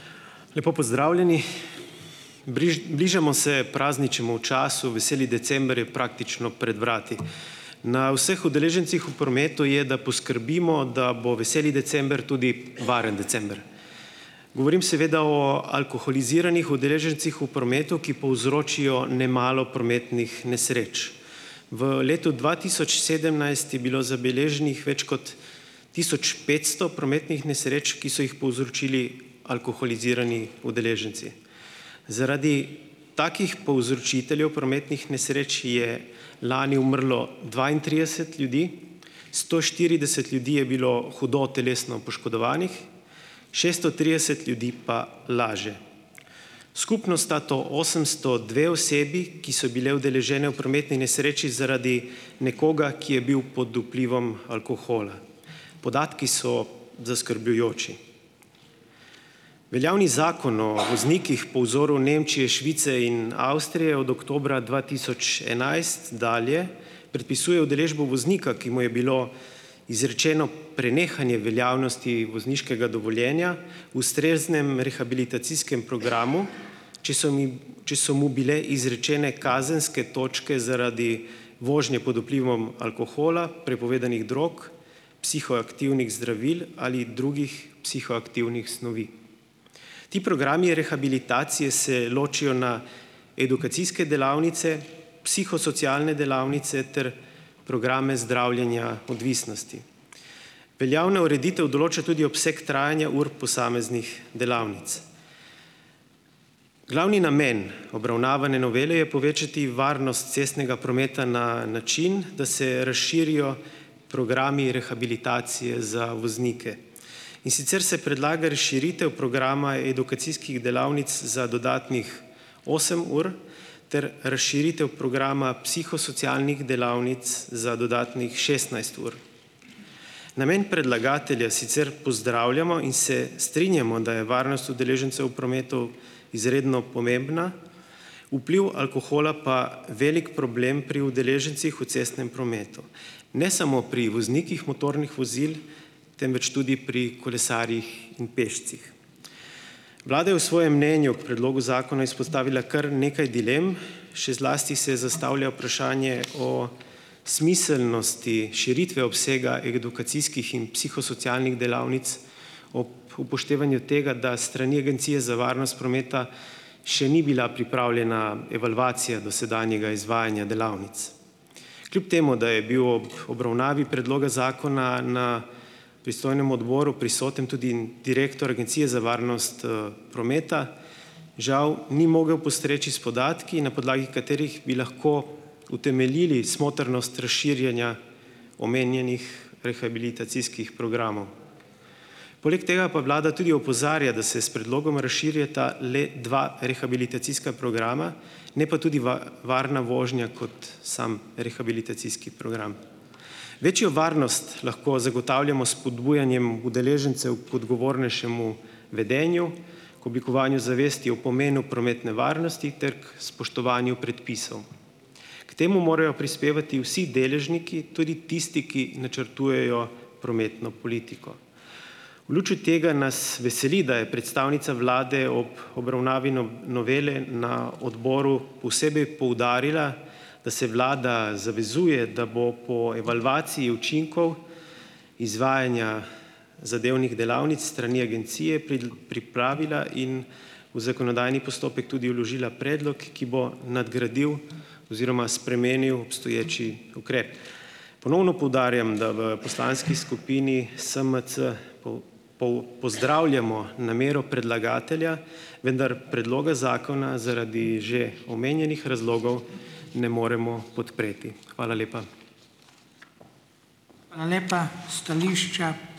Lepo pozdravljeni. Bližamo se prazničnemu času, veseli december je praktično pred vrati. Na vseh udeležencih v prometu je, da poskrbimo, da bo veseli december tudi varen december. Govorim seveda o alkoholiziranih udeležencih v prometu, ki povzročijo nemalo prometnih nesreč. V letu dva tisoč sedemnajst je bilo zabeleženih več kot tisoč petsto prometnih nesreč, ki so jih povzročili alkoholizirani udeleženci. Zaradi takih povzročiteljev prometnih nesreč, je lani umrlo dvaintrideset ljudi, sto štirideset ljudi je bilo hudo telesno poškodovanih, šesto trideset ljudi pa laže. Skupno sta to osemsto dve osebi, ki so bile udeležene v prometni nesreči zaradi nekoga, ki je bil pod vplivom alkohola. Podatki so zaskrbljujoči. Veljavni Zakon o voznikih po vzoru Nemčije, Švice in Avstrije od oktobra dva tisoč enajst dalje predpisuje udeležbo voznika, ki mu je bilo izrečeno prenehanje veljavnosti vozniškega dovoljenja, ustreznem rehabilitacijskem programu, če so mi če so mu bile izrečene kazenske točke zaradi vožnje pod vplivom alkohola, prepovedanih drog, psihoaktivnih zdravil ali drugih psihoaktivnih snovi. Ti programi rehabilitacije se ločijo na edukacijske delavnice, psihosocialne delavnice ter programe zdravljenja odvisnosti. Veljavna ureditev določa tudi obseg trajanja ur posameznih delavnic. Glavni namen obravnavane novele je povečati varnost cestnega prometa na način, da se razširijo programi rehabilitacije za voznike. In sicer se predlaga razširitev programa edukacijskih delavnic za dodatnih osem ur ter razširitev programa psihosocialnih delavnic za dodatnih šestnajst ur. Namen predlagatelja sicer pozdravljamo in se strinjamo, da je varnost udeležencev v prometu izredno pomembna, vpliv alkohola pa velik problem pri udeležencih v cestnem prometu. Ne samo pri voznikih motornih vozil, temveč tudi pri kolesarjih in pešcih. Vlada je v svojem mnenju k predlogu zakona izpostavila kar nekaj dilem, še zlasti se zastavlja vprašanje o smiselnosti širitve obsega edukacijskih in psihosocialnih delavnic ob upoštevanju tega, da s strani Agencije za varnost prometa še ni bila pripravljena evalvacija dosedanjega izvajanja delavnic. Kljub temu da je bil ob obravnavi predloga zakona na pristojnem odboru prisoten tudi direktor Agencije za varnost prometa, žal ni mogel postreči s podatki, na podlagi katerih bi lahko utemeljili smotrnost razširjanja omenjenih rehabilitacijskih programov. Poleg tega pa Vlada tudi opozarja, da se s predlogom razširjata le dva rehabilitacijska programa, ne pa tudi varna vožnja kot samo rehabilitacijski program. Večjo varnost lahko zagotavljamo s spodbujanjem udeležencev k odgovornejšemu vedenju, k oblikovanju zavesti o pomenu prometne varnosti ter k spoštovanju predpisov. K temu morajo prispevati vsi deležniki, tudi tisti, ki načrtujejo prometno politiko. V luči tega nas veseli, da je predstavnica Vlade ob obravnavi novele na odboru posebej poudarila, da se Vlada zavezuje, da bo po evalvaciji učinkov izvajanja zadevnih delavnic s strani agencije pripravila in v zakonodajni postopek tudi vložila predlog, ki bo nadgradil oziroma spremenil obstoječi ukrep. Ponovno poudarjam, da v poslanski skupini SMC pozdravljamo namero predlagatelja, vendar predloga zakona zaradi že omenjenih razlogov ne moremo podpreti. Hvala lepa.